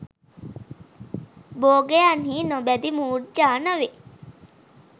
භෝගයන් හි නොබැඳි මුර්ජා නොවී